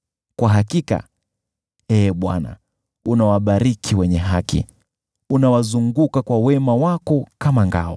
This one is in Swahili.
Kwa hakika, Ee Bwana , unawabariki wenye haki, unawazunguka kwa wema wako kama ngao.